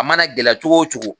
A mana gɛlɛya cogo cogo